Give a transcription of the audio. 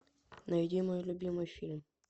найди мой любимый фильм